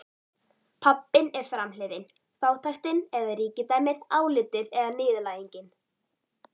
Pabbinn er framhliðin, fátæktin eða ríkidæmið, álitið eða niðurlægingin.